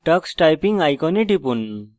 tux typing icon টিপুন